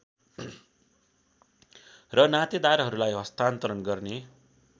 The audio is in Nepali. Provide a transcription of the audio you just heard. र नातेदारहरूलाई हस्तान्तरण गर्ने